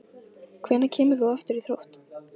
Hvenær kemur þú aftur í Þrótt?